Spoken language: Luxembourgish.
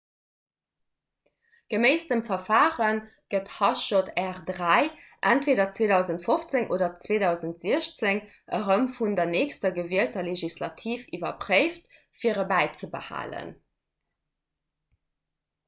geméiss dem verfare gëtt hjr-3 entweeder 2015 oder 2016 erëm vun der nächster gewielter legislativ iwwerpréift fir e bäizebehalen